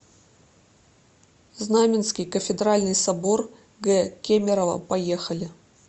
знаменский кафедральный собор г кемерово поехали